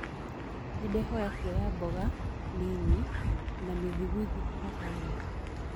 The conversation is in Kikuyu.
nindirahoya kũoya mboga nini na mithigwiti kũma subway